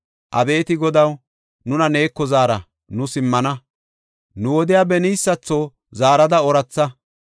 Abeeti Godaw, nuna neeko zaara; nu simmana; nu wodiya beniysatho zaarada ooratha.